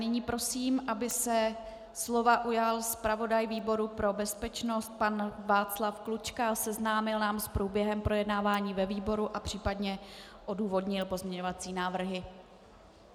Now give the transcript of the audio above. Nyní prosím, aby se slova ujal zpravodaj výboru pro bezpečnost pan Václav Klučka a seznámil nás s průběhem projednávání ve výboru a případně odůvodnil pozměňovací návrhy.